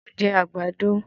Mo jẹ àgbàdo